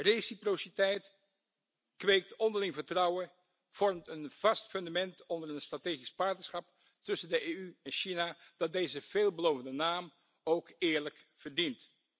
Wederkerigheid kweekt onderling vertrouwen en vormt een vast fundament onder een strategisch partnerschap tussen de EU en China dat deze veelbelovende naam ook eerlijk verdient.